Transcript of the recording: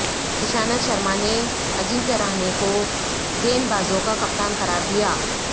ایشانت شرما نے اجنکیا رہانے کو گیندبازوں کا کپتان قرار دیا